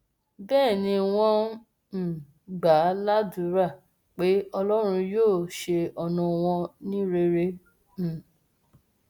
bẹẹ ni wọn um gbà á ládùúrà pé ọlọrun yóò ṣe ọnà wọn ní rere um